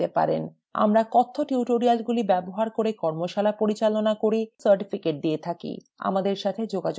আমরা কথ্য টিউটোরিয়ালগুলি ব্যবহার করে কর্মশালা পরিচালনা করি এবং certificates দিয়ে থাকি আমাদের সাথে যোগাযোগ করুন